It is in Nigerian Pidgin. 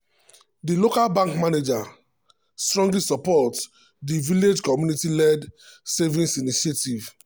di local bank manager strongly support di village community-led savings initiative.